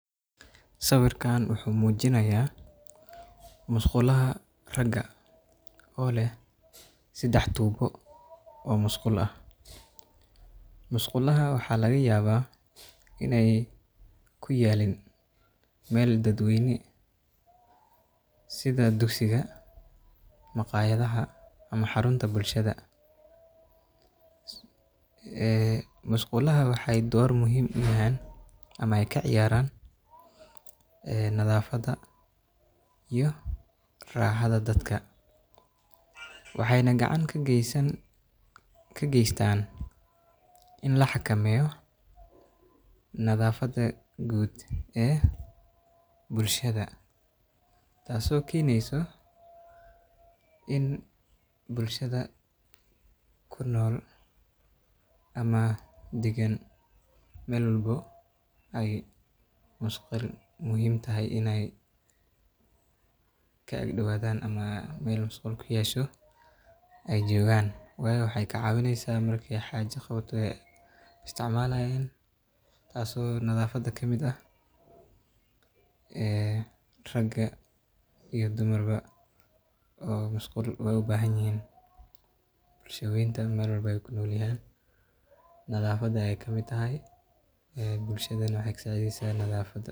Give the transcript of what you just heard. Sawirkaan wuxuu muujinayaa musqulaha ragga oo leh saddex tubo oo musqul ah. Musqulahaan waxaa laga yaabaa in aysan ku oolin meel daad weyn sida dugsiyada, maqaaxiyaha ama xarumaha bulshada. Musqulaha waxay door muhiim ah ku leeyihiin ama ka ciyaaraan nadaafadda iyo raaxada dadka, waxayna gacan ka geystaan in la xakameeyo nadaafad guud ee bulshada, taas oo keeni karto in bulshada ku nool ama degan meel walba ay muhiim tahay in musqul ka ag dhowato ama meel musqul leh ay joogaan. Waayo, waxay ka caawineysaa marka ay xaajo ka qawato oo ay isticmaalaan, taas oo nadaafadda ka mid ah. Rag iyo dumarba musqul way u baahan yihiin. Bulshada weyn meel walba ay ku nool yihiin, nadaafaddu waa muhiim. Bulshaduna waxay ka saacidaysaa nadaafadda.